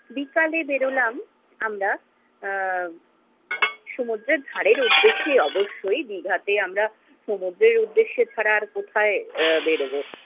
বিকালে বেরোলাম আমরা, আহ সমুদ্রের ধারের উদ্দেশ্যে অবশ্যই, দীঘা তে আমরা সমুদ্রের উদ্দেশ্যে ছাড়া আর কোথায় আহ বেরোবো।